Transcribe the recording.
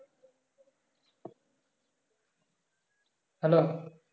hello